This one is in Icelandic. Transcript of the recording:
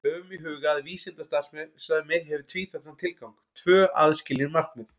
Höfum í huga að vísindastarfsemi hefur tvíþættan tilgang, tvö aðskilin markmið.